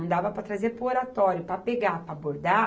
Não dava para trazer para o Oratório, para pegar para bordar.